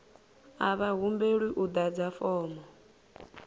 a vha humbelwi u ḓadza fomo